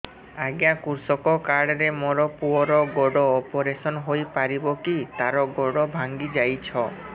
ଅଜ୍ଞା କୃଷକ କାର୍ଡ ରେ ମୋର ପୁଅର ଗୋଡ ଅପେରସନ ହୋଇପାରିବ କି ତାର ଗୋଡ ଭାଙ୍ଗି ଯାଇଛ